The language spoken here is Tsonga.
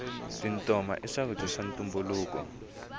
tintoma i swakudya swa ntumbuluko